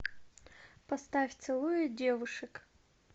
поставь целуя девушек